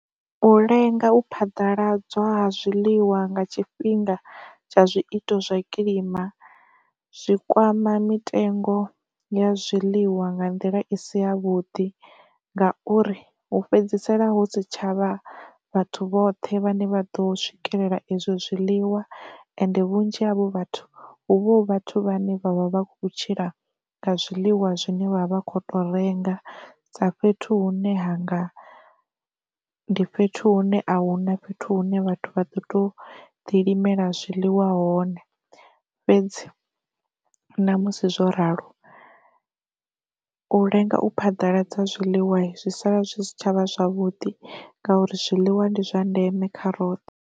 U lenga u phaḓaladzwa ha zwiḽiwa nga tshifhinga tsha zwiito zwa kilima zwi kwama mitengo ya zwiḽiwa nga nḓila i si ya vhuḓi ngauri, hu fhedzisela hu si tshavha vhathu vhoṱhe vhane vha ḓo swikelela izwo zwiḽiwa ende vhunzhi havho vhathu hu vha hu vhathu vhane vha vha vha khou tshila nga zwiḽiwa zwine vha vha khou to renga sa fhethu hune hanga ndi fhethu hune a huna fhethu hune vhathu vha do to ḓilimela zwiḽiwa hone, fhedzi ṋamusi zwo ralo u lenga u phaḓaladza zwiḽiwa zwi sala zwi si tshavha zwavhuḓi ngauri zwiḽiwa ndi zwa ndeme kha roṱhe.